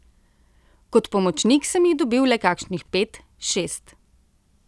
Kot pomočnik sem jih dobil le kakšnih pet, šest.